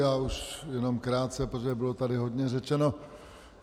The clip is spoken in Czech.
Já už jenom krátce, protože tady bylo hodně řečeno.